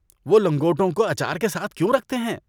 وہ لنگوٹوں کو اچار کے ساتھ کیوں رکھتے ہیں؟